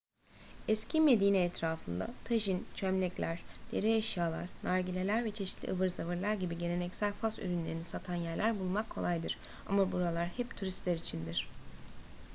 eski medine etrafında tajin çömlekler deri eşyalar nargileler ve çeşitli ıvır zıvırlar gibi geleneksel fas ürünlerini satan yerler bulmak kolaydır ama buralar hep turistler içindir